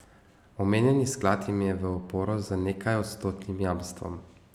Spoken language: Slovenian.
Omenjeni sklad jim je v oporo z nekajodstotnim jamstvom.